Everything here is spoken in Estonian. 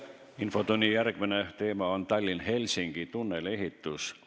Infotunni järgmine teema on Tallinna–Helsingi tunneli ehitus.